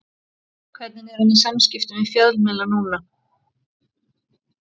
Hvernig er hann í samskiptum við fjölmiðla núna?